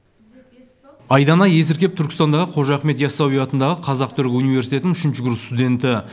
айдана есіркеп түркістандағы қожа ахмет ясауи атындағы қазақ түрік университетінің үшінші курс студенті